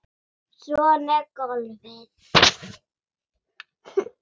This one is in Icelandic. Svona er golfið.